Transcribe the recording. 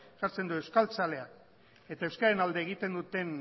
jartzen du euskaltzalea eta euskararen alde egiten duten